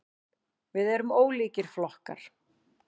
Við erum ólíkir flokkar.